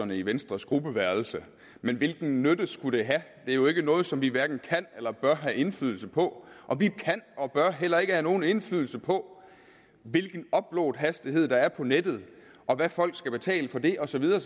i venstres gruppeværelse men hvilken nytte skulle det have det er jo ikke noget som vi hverken kan eller bør have indflydelse på og vi kan og bør heller ikke have nogen indflydelse på hvilken uploadhastighed der er på nettet og hvad folk skal betale for det og så videre og